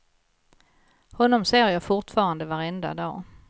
Honom ser jag fortfarande varenda dag.